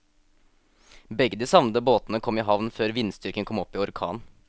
Begge de savnede båtene kom i havn før vindstyrken kom opp i orkan.